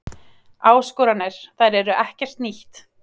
Áskoranir, þær eru ekkert nýtt.